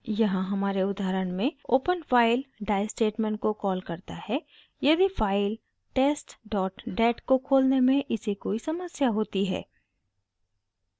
यहाँ हमारे उदाहरण में open file die स्टेटमेंट को कॉल करता है यदि फाइल testdat को खोलने में इसे कोई समस्या होती है